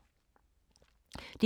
DR2